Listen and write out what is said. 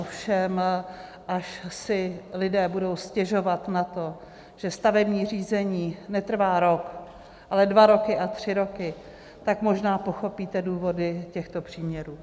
Ovšem až si lidé budou stěžovat na to, že stavební řízení netrvá rok, ale dva roky a tři roky, tak možná pochopíte důvody těchto příměrů.